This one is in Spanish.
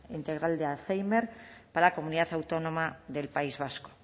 integral de alzhéimer para la comunidad autónoma del país vasco